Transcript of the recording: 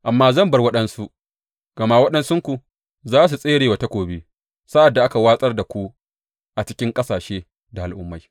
Amma zan bar waɗansu, gama waɗansunku za su tsere wa takobi sa’ad da aka watsar da ku a cikin ƙasashe da al’ummai.